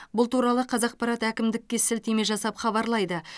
бұл туралы қазақпарат әкімдікке сілтеме жасап хабарлайды